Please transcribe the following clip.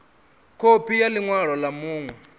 khophi ya ḽi ṅwalo ḽa vhuṋe